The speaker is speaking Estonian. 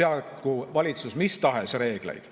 seadku valitsus mis tahes reegleid.